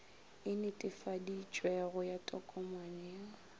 e netefaditšwego ya tokomane ya